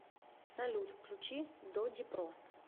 салют включи додипро